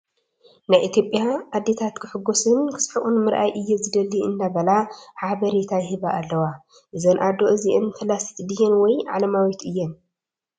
ናይ ኢትዮጰያ ኣዴታ ክሕጎሱን ክስሕቁን ምርኣይ እየ ዝደሊ እንዳበላ ሓበሬታ ይህባ ኣለዋ። እዘን ኣዶ እዚኣን ፈላሲት ድየን ወይ ዓለማዊት እየን ?